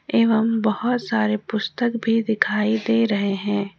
एवं बहुत सारे पुस्तक भी दिखाई दे रहे हैं।